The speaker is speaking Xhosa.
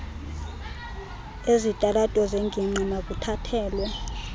ezitalato zengingqi makuthathelwe